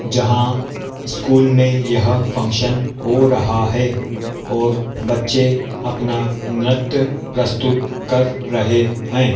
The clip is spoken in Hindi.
जहां स्कूल में यह फंक्शन हो रहा है और बच्चे अपना नृत्य प्रस्तुत कर रहे हैं।